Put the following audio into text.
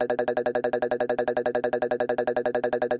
धन्यवाद